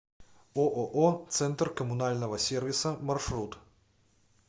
ооо центр коммунального сервиса маршрут